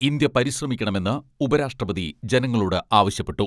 India പരിശ്രമിക്കണമെന്ന് ഉപരാഷ്ട്രപതി ജനങ്ങളോട് ആവശ്യപ്പെട്ടു.